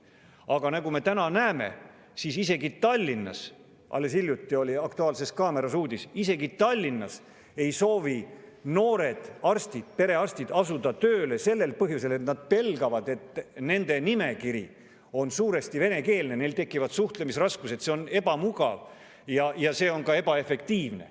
Aga nagu me täna näeme, siis isegi Tallinnasse – alles hiljuti oli "Aktuaalses kaameras" selle kohta uudis – ei soovi noored arstid, perearstid, asuda tööle sellel põhjusel, et nad pelgavad, et nende nimekiri on suuresti venekeelne, neil tekivad suhtlemisraskused, see on ebamugav ja ka ebaefektiivne.